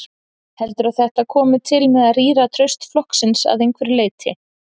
Heldurðu að þetta komi til með að rýra traust flokksins að einhverju leyti?